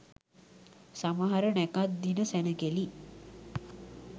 සමහර නැකැත් දින සැණකෙළි